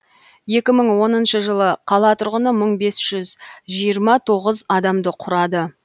екі мың оныншы жылы қала тұрғыны мың бес жүз жиырма тоғыз адамды құрады